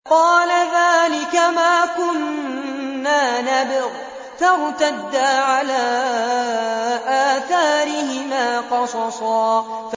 قَالَ ذَٰلِكَ مَا كُنَّا نَبْغِ ۚ فَارْتَدَّا عَلَىٰ آثَارِهِمَا قَصَصًا